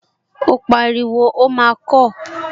Ó pariwo, 'ó máa kọọ́!